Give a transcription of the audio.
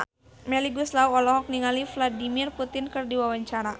Melly Goeslaw olohok ningali Vladimir Putin keur diwawancara